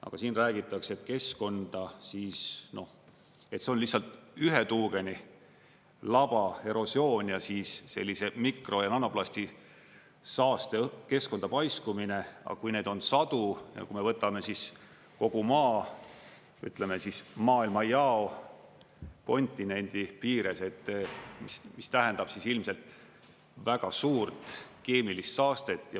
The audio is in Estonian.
Aga siin räägitakse, et keskkonda, noh, see on lihtsalt ühe tuugenilaba erosioon ja sellise mikro- ja nanoplasti saaste keskkonda paiskumine, aga kui neid on sadu ja kui me võtame kogu Maa, ütleme, maailmajao, kontinendi piires, mis tähendab ilmselt väga suurt keemilist saastet.